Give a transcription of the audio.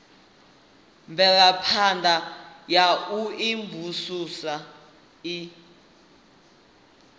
mvelaphana ya u imvumvusa i